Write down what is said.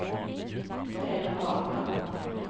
Peder Hagman